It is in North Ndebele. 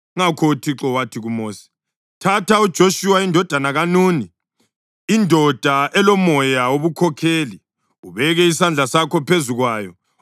Ngakho uThixo wathi kuMosi, “Thatha uJoshuwa indodana kaNuni, indoda elomoya wobukhokheli, ubeke isandla sakho phezu kwayo.